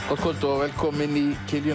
gott kvöld og velkomin í